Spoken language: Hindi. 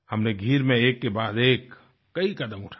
हमनें गीर में एक के बाद एक कई कदम उठाए